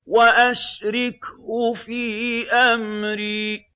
وَأَشْرِكْهُ فِي أَمْرِي